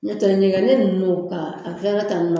N'o tɛ ɲɛgɛnnen ninnu kan a kɛra tan de